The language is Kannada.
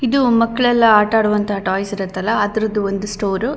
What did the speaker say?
ಇದು ಮಕ್ಕಳೆಲ್ಲಾ ಆಟ ಆಡುವಂತ ಟಾಯ್ಸ್ ಇರುತ್ತ ಅಲಾ ಆ ತರದ್ದ ಒಂದು ಸ್ಟೋರು.